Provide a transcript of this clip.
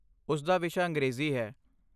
ਉਸਦਾ ਵਿਸ਼ਾ ਅੰਗਰੇਜ਼ੀ ਹੈ।